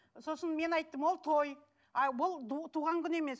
сосын мен айттым ол той а бұл туған күн емес